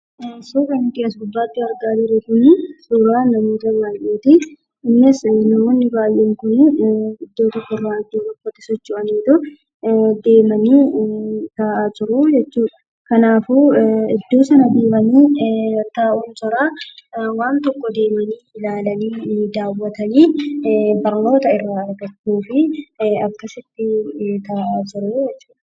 Suura nuti as gubbaatti argaa jirru kuni suuraa namoota baay'eeti. Innis namoonni baay'een kun iddoo tokko irraa gara iddoo biraatti socho'aniitu deemanii taa'aa jiru jechuudha. Kanaafuu iddoo sana deemanii taa'uun dura waan tokko deemanii ilaalanii daawwatanii barnoota irraa argachuuf akkasitti taa'aa jiru jechuudha.